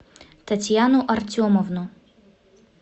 татьяну артемовну